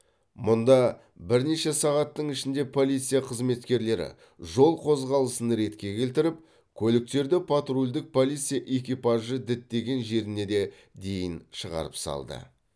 мұнда бірнеше сағаттың ішінде полиция қызметкерлері жол қозғалысын ретке келтіріп көліктерді патрульдік полиция экипажы діттеген жеріне де дейін шығарып салды